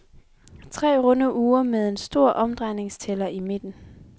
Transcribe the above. Tre runde ure med en stor omdrejningstæller i midten.